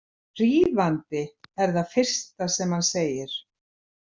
Hrífandi, er það fyrsta sem hann segir.